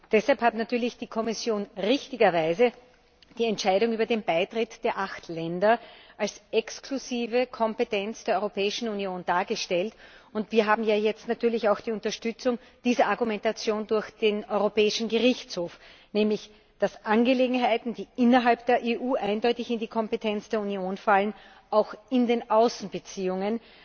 Deshalb hat die Kommission richtigerweise die Entscheidung über den Beitritt der acht Länder als exklusive Kompetenz der Europäischen Union dargestellt. Wir haben ja jetzt natürlich auch die Unterstützung durch die Argumentation des Europäischen Gerichtshofs, nämlich, dass Angelegenheiten, die innerhalb der EU eindeutig in die Kompetenz der Union fallen, auch in den Außenbeziehungen